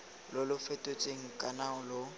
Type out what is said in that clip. lo lo fetotsweng kana lo